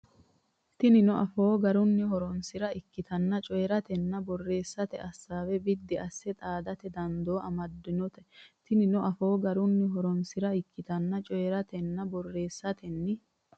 Tinino afoo garunni horonsi ra ikkitanni coyi ratenninna borreesatenni assaawe biddi asse xaadate dandoo amaddinote Tinino afoo garunni horonsi ra ikkitanni coyi ratenninna borreesatenni.